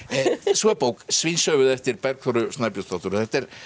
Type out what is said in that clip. svo er bók Svínshöfuð eftir Bergþóru Snæbjörnsdóttur þetta er